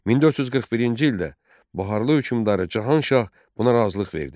1441-ci ildə Baharlı hökmdarı Cahanşah buna razılıq verdi.